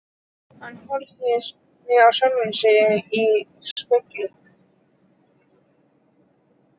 Hann horfði á sjálfan sig í spegli.